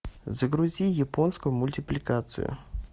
загрузи японскую мультипликацию